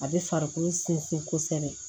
A bɛ farikolo sɛnsin kosɛbɛ